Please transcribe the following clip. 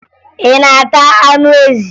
Ị na-ata anụ ezi?